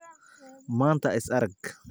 maanta is arag